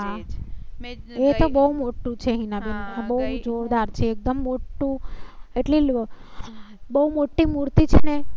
એતો બહુ મોટું છે. હિનાબેન બહુ જોરદાર છે. એકદમ મોટું એટલે બહુ મોટી મૂર્તિ છે ને